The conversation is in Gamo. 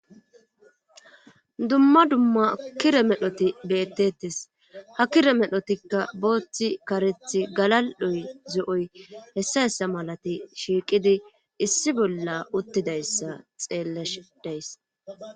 dumma dumma kire medhoti bettettes ha kire medhotikka booththi karethi galal'oy zo'oy hessa hessa malati shiiqidi issi bolla uttidayssa xeelleshe de'iys